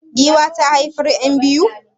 Giwa ta haifar yan biyu?